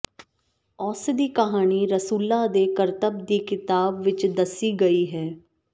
ਉਸ ਦੀ ਕਹਾਣੀ ਰਸੂਲਾਂ ਦੇ ਕਰਤੱਬ ਦੀ ਕਿਤਾਬ ਵਿਚ ਦੱਸੀ ਗਈ ਹੈ